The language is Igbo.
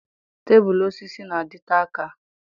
Tebụl osisi na-adịte aka.